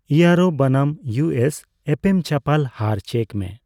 euro ᱵᱚᱱᱟᱢ ᱤᱣᱩᱮᱥ ᱮᱯᱮᱢᱪᱟᱯᱟᱞ ᱦᱟᱨ ᱪᱮᱠ ᱢᱮ